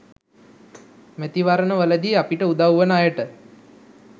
මැතිවරණවලදී අපිට උදව් වන අයට